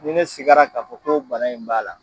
Ni ne sigara k'a fɔ ko bana in b'a la